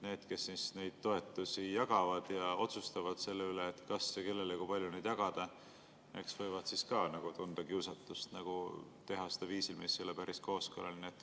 Need, kes neid toetusi jagavad ja otsustavad selle üle, kas ja kellele neid kui palju jagada, võivad ka tunda kiusatust teha seda viisil, mis ei ole päris kooskõlaline.